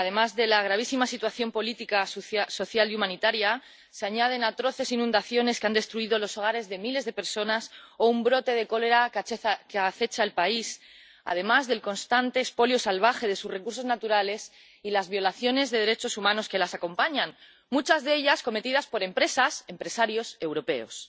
A la gravísima situación política social y humanitaria se añaden atroces inundaciones que han destruido los hogares de miles de personas o un brote de cólera que acecha al país, además del constante expolio salvaje de sus recursos naturales y las violaciones de derechos humanos que las acompañan, muchas de ellas cometidas por empresas, por empresarios europeos.